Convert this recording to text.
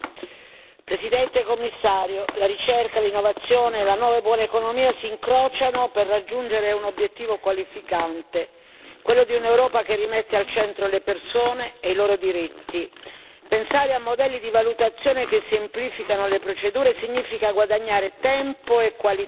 Signor Presidente, onorevoli colleghi, signor Commissario, la ricerca, l'innovazione e la nuova e buona economia si incrociano per raggiungere un obiettivo qualificante, quello di un'Europa che rimette al centro le persone e i loro diritti. Pensare a modelli di valutazione che semplificano le procedure significa guadagnare tempo e qualità,